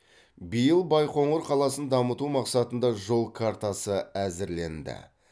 биыл байқоңыр қаласын дамыту мақсатында жол картасы әзірленді